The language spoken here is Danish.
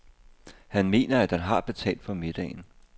Han mener, at han har betalt for middagen.